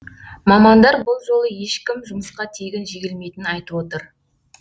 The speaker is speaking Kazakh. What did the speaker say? мамандар бұл жолы ешкім жұмысқа тегін жегілмейтінін айтып отыр